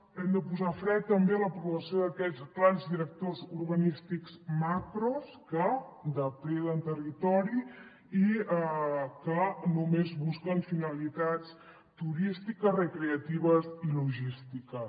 hem de posar fre també a l’aprovació d’aquests plans directors urbanístics macros que depreden territori i que només busquen finalitats turístiques recreatives i logístiques